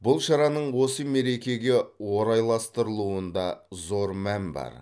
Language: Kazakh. бұл шараның осы мерекеге орайластырылуында зор мән бар